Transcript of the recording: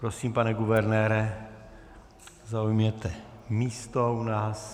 Prosím, pane guvernére, zaujměte místo u nás.